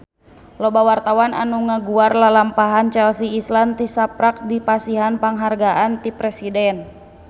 Loba wartawan anu ngaguar lalampahan Chelsea Islan tisaprak dipasihan panghargaan ti Presiden